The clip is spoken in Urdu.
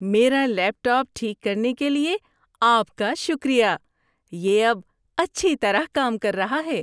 میرا لیپ ٹاپ ٹھیک کرنے کے لیے آپ کا شکریہ۔ یہ اب اچھی طرح کام کر رہا ہے۔